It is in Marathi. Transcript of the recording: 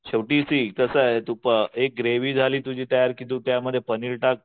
शेवटी कसं आहे एक ग्रेव्ही झाली तुझी तयार की तू त्यामध्ये पनीर टाक